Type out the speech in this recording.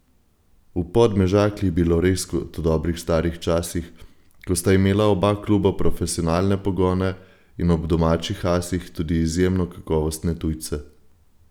V Podmežakli je bilo res kot v dobrih starih časih, ko sta imela oba kluba profesionalne pogone in ob domačih asih tudi izjemno kakovostne tujce.